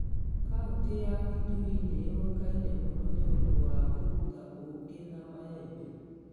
Kaunti ya Kitui nĩ ĩũĩkaine mũno nĩ ũndũ wa kũruta ũũkĩ na maembe.